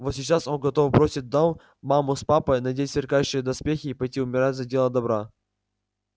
вот сейчас он готов бросить дом маму с папой надеть сверкающие доспехи и пойти умирать за дело добра